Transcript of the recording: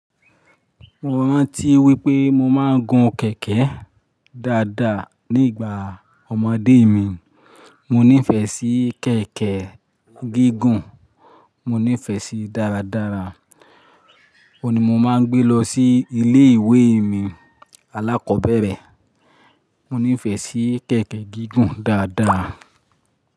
Mo rántí wípé mo máa ń gun kẹ̀kẹ́ dáadáa ní ìgbà ọmọdé mi. Mo nífẹ̀ẹ́ sí kẹ̀kẹ́ gígùn, mo nífẹ̀ẹ́ síí dáradára. Ó ni mo máa ń gbé lọ sí ilé ìwé mi alákọ̀ọ́bẹ̀rẹ̀. Mo nífẹ̀ẹ́ sí kẹ̀kẹ́ gígùn dáadáa.